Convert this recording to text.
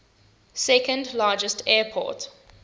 second largest airport